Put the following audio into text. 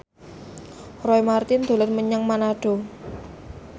Roy Marten dolan menyang Manado